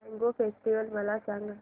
mango festival मला सांग